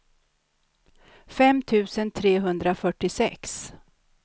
fem tusen trehundrafyrtiosex